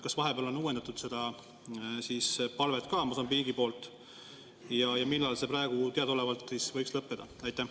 Kas vahepeal on uuendatud seda palvet Mosambiigi poolt ja millal see praegu teadaolevalt võiks lõppeda?